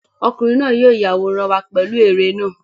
Ọkùnrin náà yóò yàwórán wa pẹ̀lú ère náà.